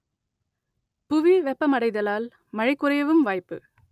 புவி வெப்பமடைதலால் மழை குறையவும் வாய்ப்பு